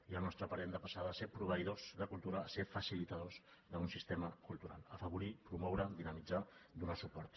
i al nostre parer hem de passar de ser proveïdors de cultura a ser facilitadors d’un sistema cultural afavorir promoure dinamitzar donar suport